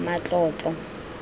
matlotlo